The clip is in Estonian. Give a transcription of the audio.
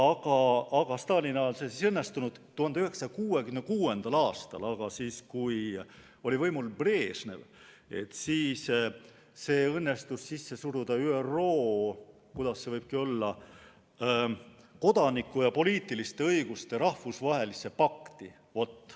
Stalini ajal see ei õnnestunud, aga 1966. aastal, kui oli võimul Brežnev, õnnestus see sisse suruda ÜRO kodaniku- ja poliitiliste õiguste rahvusvahelisse pakti.